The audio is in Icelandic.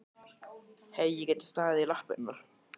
Hefði ég getað staðið í lappirnar?